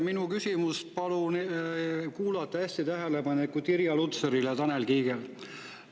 Minu küsimust palun kuulata hästi tähelepanekult Irja Lutsaril ja Tanel Kiigel.